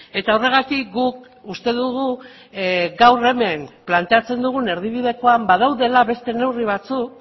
eta horregatik guk uste dugu gaur hemen planteatzen dugun erdibidekoan badaudela beste neurri batzuk